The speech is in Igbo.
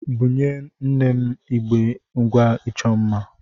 Bunye nne m igbé ngwá ịchọ mma.